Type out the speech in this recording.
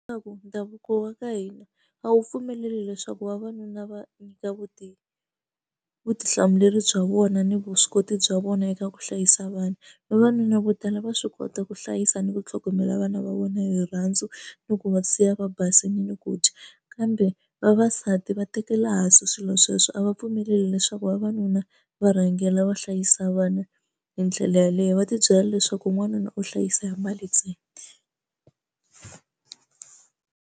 Leswaku ndhavuko wa ka hina a wu pfumeleli leswaku vavanuna va nyika vutivi vutihlamuleri bya vona ni vuswikoti bya vona eka ku hlayisa vana vavanuna vo tala va swi kota ku hlayisa ni ku tlhogomela vana va vona hi rirhandzu ni ku va siya va basile ku dya kambe vavasati va tekela hansi swilo sweswo a va pfumeleli leswaku vavanuna va rhangela va hlayisa vana hi ndlela yaleyo va tibyela leswaku n'wanuna u hlayisa mali ntsena.